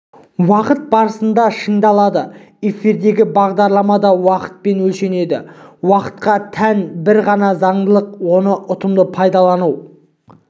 уақыт барысында шыңдалады эфирдегі бағдарлама да уақытпен өлшенеді уақытқа тән бір ғана заңдылық оны ұтымды пайдалану